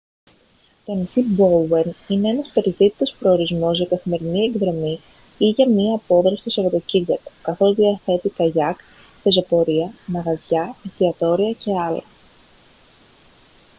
το νησί μπόουεν είναι ένας περιζήτητος προορισμός για καθημερινή εκδρομή ή για μια απόδραση το σαββατοκύριακο καθώς διαθέτει καγιάκ πεζοπορία μαγαζιά εστιατόρια και άλλα